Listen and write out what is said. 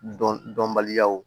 Dɔn dɔnbaliyaw